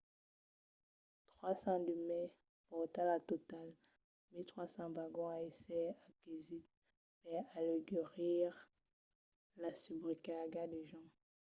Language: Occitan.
300 de mai pòrta lo total a 1 300 vagons a èsser aquesits per aleugerir las subrecargas de gents